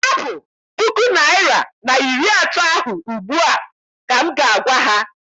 Hapụ puku naịra na iri atọ ahụ ugbu a! ka m ga- agwa ha.